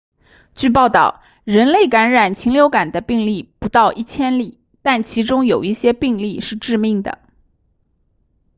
据报道人类感染禽流感的病例不到一千例但其中有一些病例是致命的